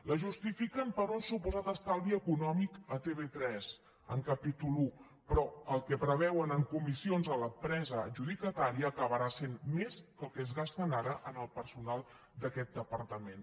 la justifiquen per un suposat estalvi econòmic a tv3 en capítol i però el que preveuen en comissions a l’empresa adjudicatària acabarà sent més que el que es gasten ara en el personal d’aquest departament